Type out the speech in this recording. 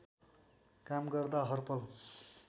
काम गर्दा हरपल